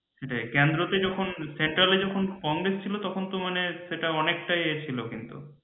central এ যখন কংগ্রেস ছিল তখন তো মানে অনেকটাই এ ছিল কিন্তু